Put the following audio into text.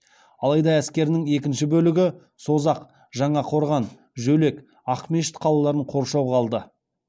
алайда әскерінің екінші бөлігі созақ жаңақорған жөлек ақмешіт қалаларын қоршауға алды